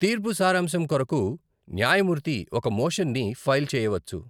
తీర్పు సారాంశం కొరకు న్యాయమూర్తి ఒక మోషన్ని ఫైల్ చేయవచ్చు.